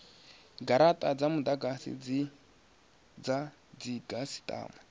garata dza mudagasi dza dzikhasitama